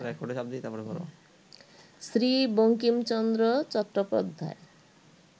Sri Bankim Chandra Chattopadhyay